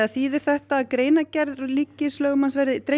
þýðir þetta að greinargerð setts ríkislögmanns verði dregin